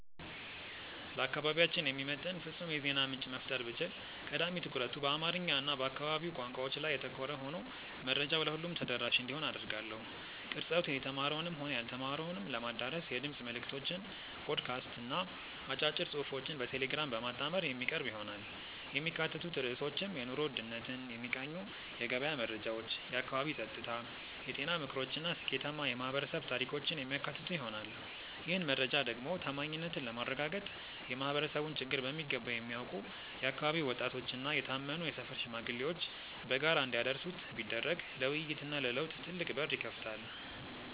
ለአካባቢያችን የሚመጥን ፍጹም የዜና ምንጭ መፍጠር ብችል፣ ቀዳሚ ትኩረቱ በአማርኛ እና በአካባቢው ቋንቋዎች ላይ ያተኮረ ሆኖ መረጃው ለሁሉም ተደራሽ እንዲሆን አደርጋለሁ። ቅርጸቱ የተማረውንም ሆነ ያልተማረውን ለማዳረስ የድምፅ መልዕክቶችን (ፖድካስት) እና አጫጭር ጽሑፎችን በቴሌግራም በማጣመር የሚቀርብ ይሆናል። የሚካተቱት ርዕሶችም የኑሮ ውድነትን የሚቃኙ የገበያ መረጃዎች፣ የአካባቢ ጸጥታ፣ የጤና ምክሮች እና ስኬታማ የማኅበረሰብ ታሪኮችን የሚያካትቱ ይሆናል። ይህን መረጃ ደግሞ ታማኝነትን ለማረጋገጥ የማኅበረሰቡን ችግር በሚገባ የሚያውቁ የአካባቢው ወጣቶችና የታመኑ የሰፈር ሽማግሌዎች በጋራ እንዲያደርሱት ቢደረግ ለውይይትና ለለውጥ ትልቅ በር ይከፍታል።